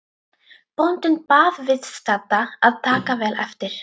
Bóndinn bað viðstadda að taka vel eftir.